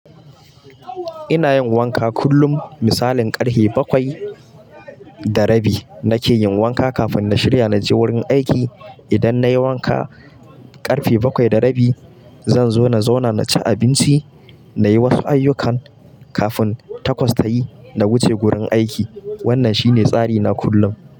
Ina yin wanka kullum, misalin ƙarfe bakwai da rabi. Na ke yin wanka kafin na shirya na je wurin aiki. Idan na yi wanka ƙarfe bakwai da rabi, zan zo na zauna na ci abinci, na yi wasu ayyukan kafin takwas ta yi, na wuce gurin aiki. Wannan shi ne tsari na kullum.